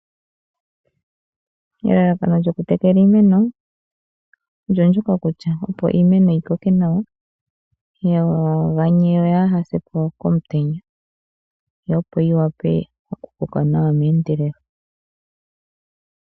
Elalakano lyokutekela iimeno, olyo ndyoka kutya opo iimeno yi koke nawa, yaa ganye yo yaa ha se po komutenya, yo opo yi wape okukoka nawa meendelelo.